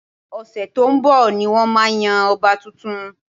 Ọ̀sẹ̀ tó ń bọ̀ ni wọ́n máa yan ọba tuntun